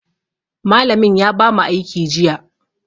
Malamin ya bamu aiki jiya.